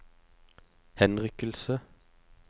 henrykkelse